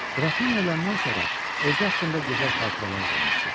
Qrafiniya öləndən sonra özü haqqında gözəl xatirələr qoymuşdu.